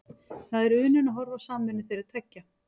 Það er unun að horfa á samvinnu þeirra tveggja.